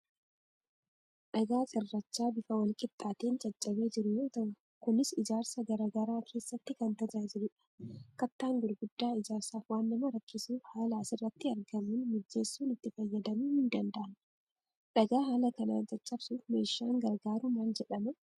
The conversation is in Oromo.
Dhagaa cirrachaa bifa walqixxaateen caccabee jiru yoo ta,u kunis ijaarsa garaagraa keessatti kan tajaajilu dha. Kattaan gurguddaa ijaarsaaf waan nama rakkisuuf haala asirratti argamuun mijeessuun itti fayyadamuun ni danda'ama. Dhagaa haala kanaan caccabsuuf meeshaan gargaaru maal jedhama ?